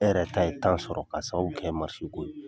E yɛrɛ ta ye tan sɔrɔ ka sababu kɛ mansin ko ye